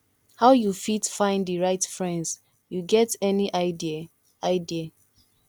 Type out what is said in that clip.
how you fit find di right friends you get any idea idea